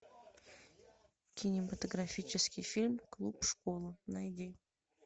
кинематографический фильм клуб школа найди